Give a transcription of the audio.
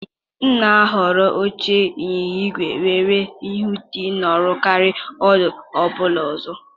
M na-ahọrọ oche ịnyịnya ígwè nwere uwe dị nro karịa ụdị ọ bụla ọzọ.